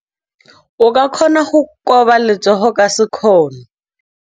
O ka kgona go koba letsogo ka sekgono.